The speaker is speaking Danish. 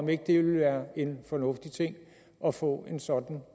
det ikke være en fornuftig ting at få en sådan